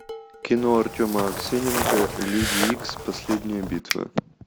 кино артема аксененко люди икс последняя битва